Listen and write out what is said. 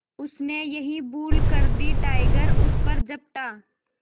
उसने यही भूल कर दी टाइगर उस पर झपटा